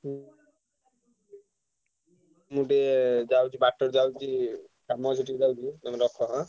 ହୁଁ ମୁଁ ଟିକେ ଯାଉଛି ବାଟରେ ଯାଉଛି, କାମ ଅଛି ଟିକେ ଯାଉଛି ତମ ରଖ ଆଁ?